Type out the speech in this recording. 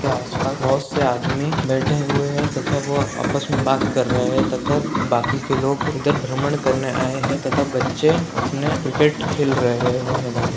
के आस-पास बहुत से आदमी बैठे हुए हैं तथा वो आपस में बात कर रहे हैं तथा बाकी के लोग उधर भ्रमण करने आये हैं तथा बच्चे अपने क्रिकेट खेल रहे हैं वहाँ मैदान में --